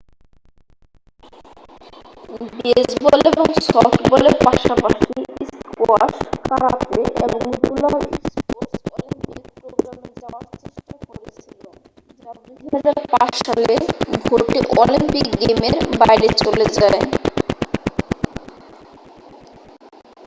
baseball এবং সফটবলের পাশাপাশি স্কোয়াশ কারাতে এবং রোলার স্পোর্টস অলিম্পিক প্রোগ্রামে যাওয়ার চেষ্টা করেছিল যা 2005 সালে ভোটে অলিম্পিক গেমের বাইরে চলে যায়